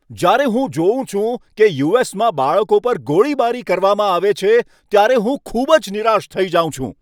જ્યારે હું જોઉં છું કે યુ.એસ.માં બાળકો પર ગોળીબારી કરવામાં આવે છે, ત્યારે હું ખૂબ જ નિરાશ થઈ જાઉં છું.